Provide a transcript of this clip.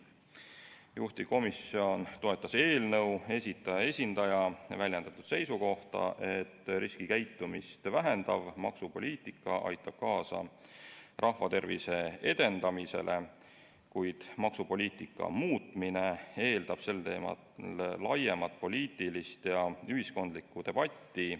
Juhtivkomisjon toetas eelnõu esitaja esindaja väljendatud seisukohta, et riskikäitumist vähendav maksupoliitika aitab kaasa rahvatervise edendamisele, kuid maksupoliitika muutmine eeldab sel teemal laiemat poliitilist ja ühiskondlikku debatti.